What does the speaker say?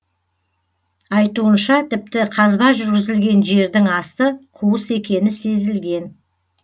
айтуынша тіпті қазба жүргізілген жердің асты қуыс екені сезілген